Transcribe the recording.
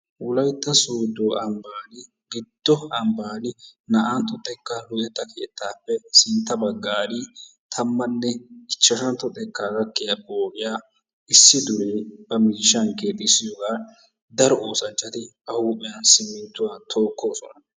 Wolaytta Soodo ambban giddo ambban naa''antto xekka luxetta keettappe sintta baggan tammanne ichashshantto xekka gakiya pooqiyaa issi dure ba miishshan keexxisiyooga daro oosanchchati ba huphiyan simminttuwa tookoosona.